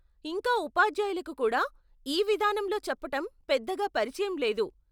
ఇంకా ఉపాధ్యాయులకు కూడా ఈ విధానంలో చెప్పటం పెద్దగా పరిచయం లేదు.